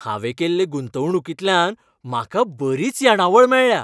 हांवें केल्ले गुंतवणूकींतल्यान म्हाका बरींच येणावळ मेळ्ळ्या.